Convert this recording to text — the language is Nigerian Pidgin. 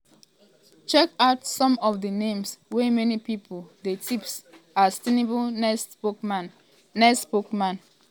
check out some of di names wey many pipo dey tip as tinubu next spokesman. next spokesman.